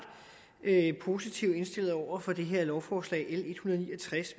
positivt indstillet over for det her lovforslag l